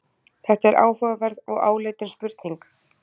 Þetta er áhugaverð og áleitin spurning.